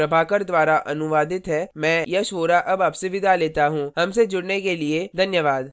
यह स्क्रिप्ट प्रभाकर द्वारा अनुवादित है मैं यश वोरा आपसे विदा लेता हूँ